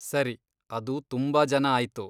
ಸರಿ, ಅದು ತುಂಬಾ ಜನ ಆಯ್ತು.